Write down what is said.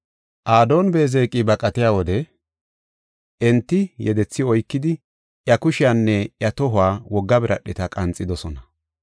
Adooni-Beezeqi baqatiya wode enti yedethi oykidi, iya kushiyanne iya tohuwa wogga biradheta qanxidosona.